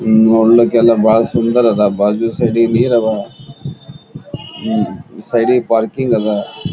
ನೋಡ್ಲಿಕ್ಕೆಲ್ಲಾ ಬಹಳ್ ಸುಂದರ ಅದ್ ಬಾಜು ಸೈಡಿಗ್ ನೀರ್ ಅದ್ ಉಹ್ ಸೈಡಿಗ್ ಪಾರ್ಕಿಂಗ್ ಅದ್ .